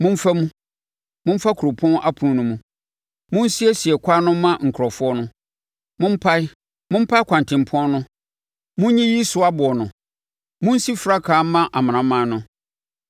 Momfa mu, momfa kuropɔn apono no mu! Monsiesie kwan no mma nkurɔfoɔ no. Mompae, mompae kwantempɔn no! Monyiyi so aboɔ no. Monsi frankaa mma amanaman no.